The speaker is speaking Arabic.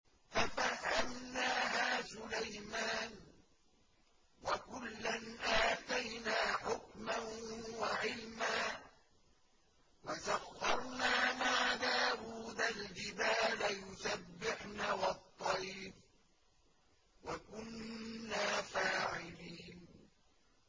فَفَهَّمْنَاهَا سُلَيْمَانَ ۚ وَكُلًّا آتَيْنَا حُكْمًا وَعِلْمًا ۚ وَسَخَّرْنَا مَعَ دَاوُودَ الْجِبَالَ يُسَبِّحْنَ وَالطَّيْرَ ۚ وَكُنَّا فَاعِلِينَ